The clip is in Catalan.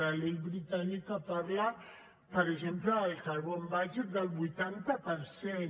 la llei britànica parla per exemple en el carbon budget del vuitanta per cent